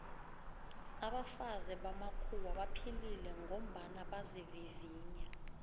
abafazi bamakhuwa baphilile ngombana bazivivinya